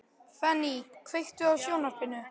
Fanny, kveiktu á sjónvarpinu.